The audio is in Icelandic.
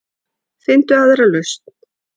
Finndu aðra lausn.